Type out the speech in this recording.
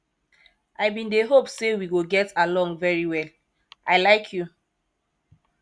i bin dey hope say we go get along very well i like you